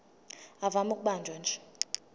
ivame ukubanjwa nje